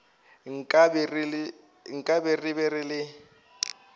nkabe re be re le